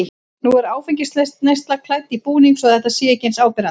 Nú er áfengisneyslan klædd í búning svo að þetta sé ekki eins áberandi.